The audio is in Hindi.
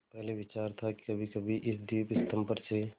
पहले विचार था कि कभीकभी इस दीपस्तंभ पर से